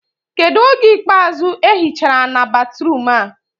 Kedụ oge ikpeazụ ehi chara ana batruum a?